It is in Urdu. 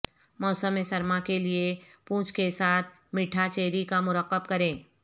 موسم سرما کے لئے پونچھ کے ساتھ میٹھا چیری کا مرکب کریں